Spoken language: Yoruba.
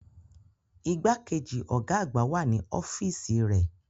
Igbákejì ọ̀gá àgbà wà ní ọ́fíìsì rẹ̀.